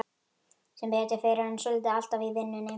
Sem betur fer er hann svotil alltaf í vinnunni.